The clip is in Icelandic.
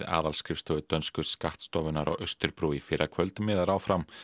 aðalskrifstofu dönsku skattstofunnar á Austurbrú í fyrrakvöld miðar áfram